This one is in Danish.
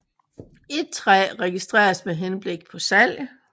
Et træ registreres med henblik på salg